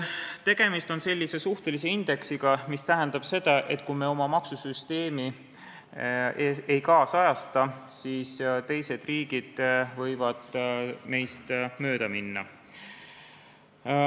Tegemist on suhtelise indeksiga, mis tähendab seda, et kui me oma maksusüsteemi ei nüüdisajasta, siis teised riigid võivad meist mööda minna.